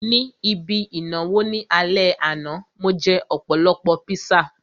Ní ibi ìnáwó ní alẹ́ àná, mo jẹ́ ọ̀pọ̀lọpọ̀ píṣà